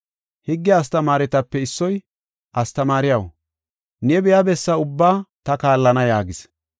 Higge astamaaretape issoy, “Astamaariyaw, ne biya bessa ubbaa ta kaallana” yaagis.